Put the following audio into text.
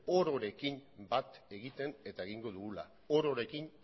ororekin bat egiten eta egingo dugula ororekin